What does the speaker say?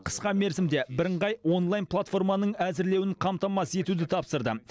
қысқа мерзімде бірыңғай онлайн платформаның әзірлеуін қамтамасыз етуді тапсырды